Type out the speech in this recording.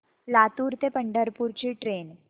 लातूर ते पंढरपूर ची ट्रेन